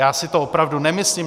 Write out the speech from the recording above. Já si to opravdu nemyslím.